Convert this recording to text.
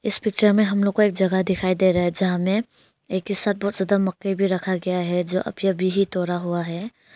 इस पिक्चर में हम लोग को एक जगह दिखाई दे रहा है जहां में एक ही साथ बहुत सारा मकई भी रखा गया है जो अभी अभी ही तोड़ा हुआ है।